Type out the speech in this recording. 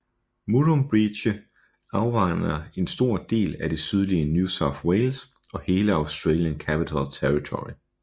Murrumbidgee afvander en stor del af det sydlige New South Wales og hele Australian Capital Territory